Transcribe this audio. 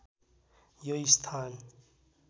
यो स्थान